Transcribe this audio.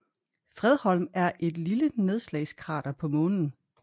Fredholm er et lille nedslagskrater på Månen